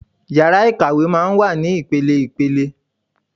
Ìyàrá Ikàwé máa ń wà ní ipele-ipele.